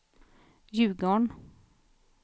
Ljugarn